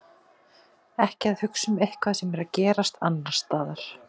Ekki að hugsa um eitthvað sem er að gerast annars staðar.